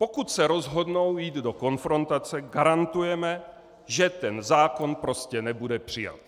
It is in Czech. Pokud se rozhodnou jít do konfrontace, garantujeme, že ten zákon prostě nebude přijat.